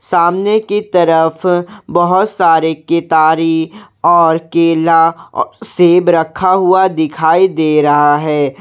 सामने की तरफ बहोत सारी कितारी और केला सेब रखा हुआ दिखाई दे रहा है।